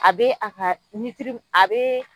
A be a ka nitirib a bee